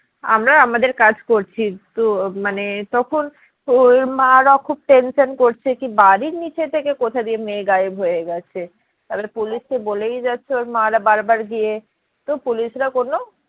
আমরা আমাদের কাজ করছি তো মানে তখন ওর মারা খুব tension করছে যে বাড়ির নিচে থেকে কোথা দিয়ে মেয়ে গায়েব গিয়ে গেছে? তারপর পুলিশকে বলেই যাচ্ছে ওর মা রা বার বার গিয়ে তো পুলিশরা কোনো